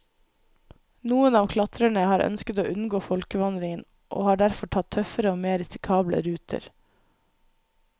Noen av klatrerne har ønsket å unngå folkevandringen, og har derfor tatt tøffere og mer risikable ruter.